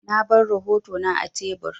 Na bar rahotona a tebur.